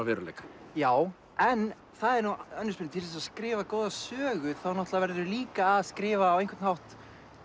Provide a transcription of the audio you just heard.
samtímaveruleika já en það er nú önnur spurning til að skrifa góða sögu þá náttúrulega verðurðu líka að skrifa á einhvern hátt